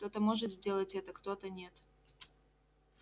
кто-то может сделать это кто-то нет